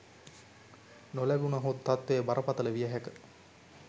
නොලැබුණහොත් තත්වය බරපතල විය හැක